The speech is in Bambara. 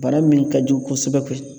Bana min ka jugu kosɛbɛ